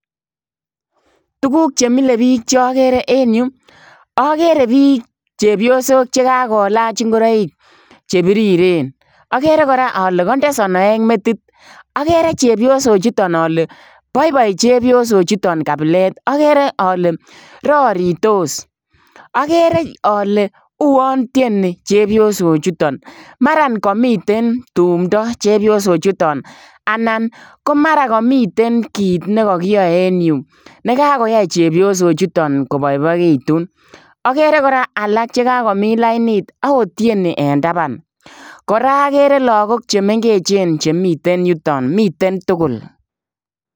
Tuguuk che milee biik che agere en Yuu agere biik chepyosook che kagolaaach ingoraik che biriren agere kora ale kandee sonooek metit agere chepsok chutoon ale boiboi chepyosook chutoon kabileet agere ale raritos agere ale uwaan tienii chepsok chutoon maran kamiten tumda chepyosook chutoon anan ko mara kamiten kiit nekakiyae en Yuu nekakoyai chepyosook chutoon kobaibaegituun agere kora che kagomiin lainit ago tienii en tabaan kora agere lagook che mengeechen chemiten yutoon miten tugul.